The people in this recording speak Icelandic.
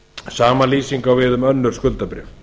sama lýsing á við um önnur skuldabréf